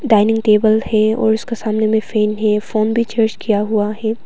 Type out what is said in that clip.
Dining table है और उसका सामने में फैन है फोन भी चार्ज किया हुआ है।